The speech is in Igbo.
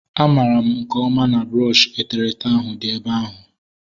A mara m nke ọma na brọọshi eterete ahu dị ebe ahu